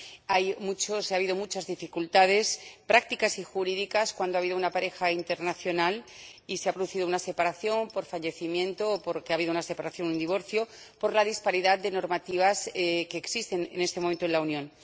Ha habido muchas dificultades prácticas y jurídicas, cuando ha habido una pareja internacional y se ha producido una separación por fallecimiento o porque ha habido una separación o un divorcio, por la disparidad de normativas que existen en este momento en la Unión.